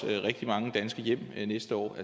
rigtig mange danske hjem næste år